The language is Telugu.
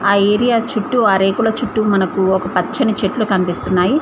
ఆ ఏరియా చుట్టూ ఆ రేకుల చుట్టూ మనకు ఒక పచ్చని చెట్లు కనిపిస్తున్నాయి.